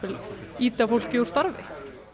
ýta fólki úr starfi